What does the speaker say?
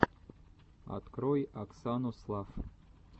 открой оксану слафф